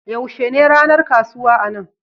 Yaushe ne ranar kasuwa a nan?